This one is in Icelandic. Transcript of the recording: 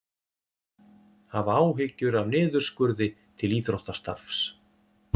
Hafa áhyggjur af niðurskurði til íþróttastarfs